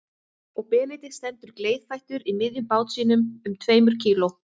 Og Benedikt stendur gleiðfættur í miðjum bát sínum um tveimur kíló